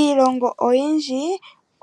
Iilongo oyindji